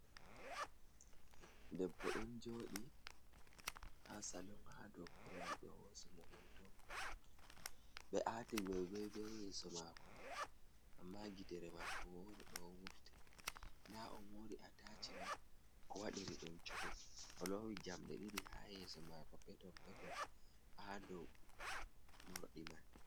Debbo ɗon jodi ha salung ha dow kurowal be hosimo hoto ,be ati gogoi be yeso mako mai amma gidere mako wore do wurti da on mori ataci man ko waɗiri ɗum coku o lowi jamde didi ha yeso mako peton peto ha dow mordi man.